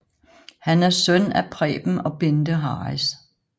Han er søn af Preben og Bende Harris